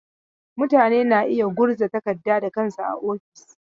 Mutane na iya yin gurza takarda da kansu a ofis.